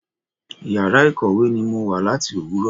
Ìyàrá ìkọ̀wé ni mo wà láti Òwúrọ̀.